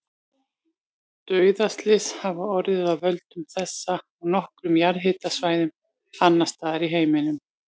Dauðaslys hafa orðið af völdum þessa á nokkrum jarðhitasvæðum annars staðar í heiminum.